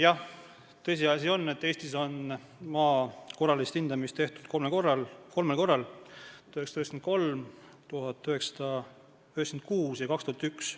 Jah, tõsiasi on, et Eestis on maa korralist hindamist tehtud kolmel korral: 1993, 1996 ja 2001.